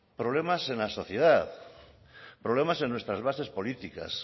problemas en la sociedad problemas en nuestras bases políticas